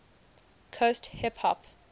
coast hip hop